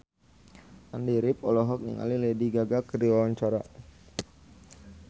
Andy rif olohok ningali Lady Gaga keur diwawancara